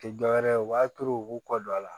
Tɛ dɔwɛrɛ ye u b'a turu u b'u kɔ don a la